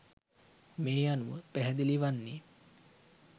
මේ අනුව පැහැදිලි වන්නේ